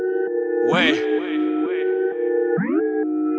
ой